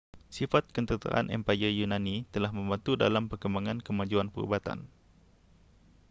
sifat ketenteraan empayar yunani telah membantu dalam perkembangan kemajuan perubatan